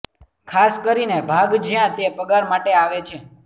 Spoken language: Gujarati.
ખાસ કરીને ભાગ જ્યાં તે પગાર માટે આવે છે